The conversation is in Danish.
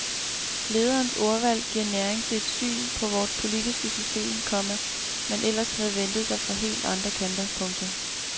Lederens ordvalg giver næring til et syn på vort politiske system, komma man ellers havde ventet sig fra helt andre kanter. punktum